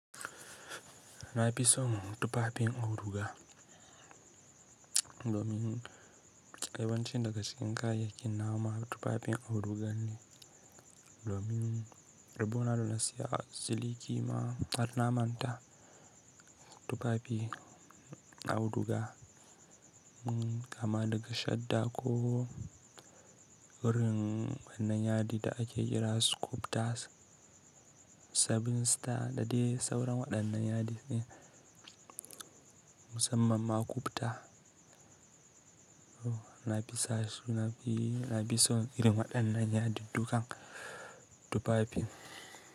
Na fi son tufafin auduga domin yawan cin daga cikin kayayyakin na wa ma tufafin auduga ne, domin rabon na saya siliki ma harna manta tufafi auduga, kama daga shadda ko irin waɗannan yadi da ake kira su kufta 7star da dai sauran waɗannan yadi ne musamman ma kufta. Na fi so irin waɗannan yadi dukan tufafin.